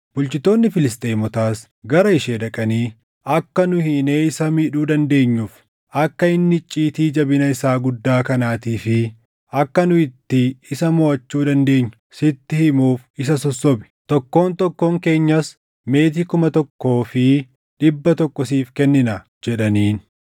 Bulchitoonni Filisxeemotaas gara ishee dhaqanii, “Akka nu hiinee isa miidhuu dandeenyuuf, akka inni icciitii jabina isaa guddaa kanaatii fi akka nu itti isa moʼachuu dandeenyu sitti himuuf isa sossobi. Tokkoon tokkoon keenyas meetii kuma tokkoo fi dhibba tokko siif kenninaa” jedhaniin.